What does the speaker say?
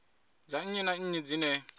dza nnyi na nnyi dzine